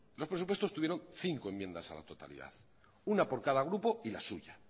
los presupuestos tuvieron cinco enmiendas a la totalidad una por cada grupo y la suya